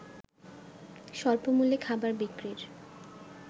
স্বল্পমূল্যে খাবার বিক্রির